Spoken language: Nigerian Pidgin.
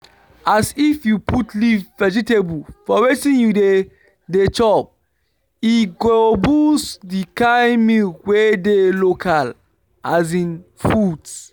ah if you put leaf vegetable for wetin you dey dey chop e go boost di kind milk wey dey local foods